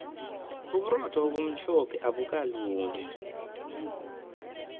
uburotho obumhlophe abukalungi